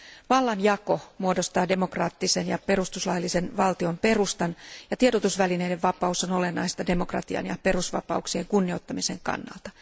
Vallanjako muodostaa demokraattisen ja perustuslaillisen valtion perustan, ja tiedotusvälineiden vapaus on olennaista demokratian ja perusvapauksien kunnioittamisen kannalta.